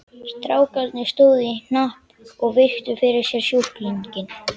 Strákarnir stóðu í hnapp og virtu fyrir sér sjúklinginn.